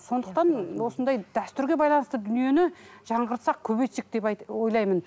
сондықтан осындай дәстүрге байланысты дүниені жаңғыртсақ көбейтсек деп ойлаймын